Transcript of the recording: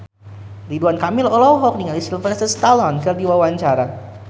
Ridwan Kamil olohok ningali Sylvester Stallone keur diwawancara